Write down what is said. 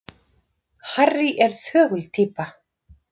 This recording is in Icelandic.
Harry er þögul týpa.